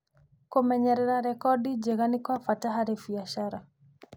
Kũmenyerera rekodi njega nĩ kwa bata harĩ biacara.